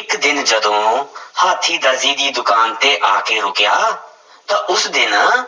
ਇੱਕ ਦਿਨ ਜਦੋਂ ਹਾਥੀਂ ਦਰਜੀ ਦੀ ਦੁਕਾਨ ਤੇ ਆ ਕੇ ਰੁੱਕਿਆ ਤਾਂ ਉਸ ਦਿਨ